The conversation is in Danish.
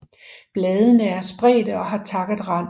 Bladene er spredte og har takket rand